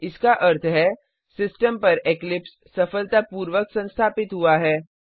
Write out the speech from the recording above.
इसका अर्थ है सिस्टम पर इक्लिप्स सफलतापूर्वक संस्थापित हुआ है